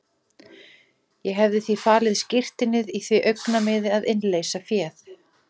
Ég hefði því falið skírteinið í því augnamiði að innleysa féð.